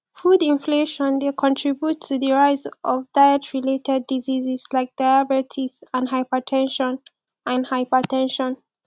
food inflation dey contribute to di rise of dietrelated diseases like diabetes and hyper ten sion and hyper ten sion